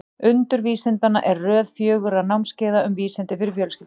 Undur vísindanna er röð fjögurra námskeiða um vísindi fyrir fjölskyldur.